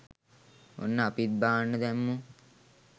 ඔන්න අපිත් බාන්න දැම්මෝ